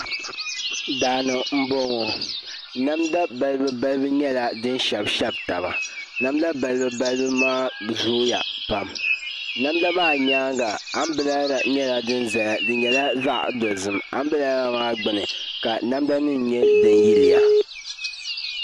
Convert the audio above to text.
Daani n bɔŋɔ namda balibu balibu nyɛla din shɛbi shɛbi taba namda balibu balibu maa zooya pam namda maa nyaanga anbirɛla nyɛla din ʒɛya di nyɛla zaɣ dozim anbirɛla maa gbuni ka namda nim nyɛ din yiliya